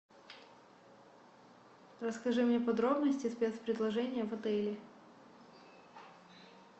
расскажи мне подробности спецпредложения в отеле